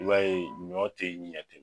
I b'a ye ɲɔ tɛ ɲɛ ten